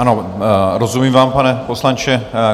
Ano, rozumím vám, pane poslanče.